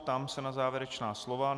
Ptám se na závěrečná slova.